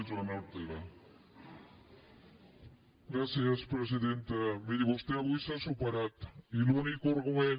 miri vostè avui s’ha superat i l’únic argument